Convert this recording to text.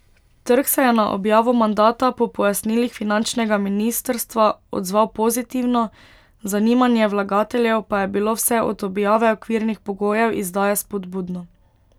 Trg se je na objavo mandata po pojasnilih finančnega ministrstva odzval pozitivno, zanimanje vlagateljev pa je bilo vse od objave okvirnih pogojev izdaje spodbudno.